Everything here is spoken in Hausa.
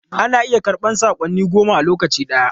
Ana iya karɓan saƙonni goma a lokaci guda.